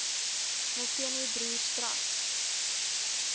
molteno broers trust